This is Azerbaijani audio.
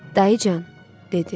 Dayıcan, dedi.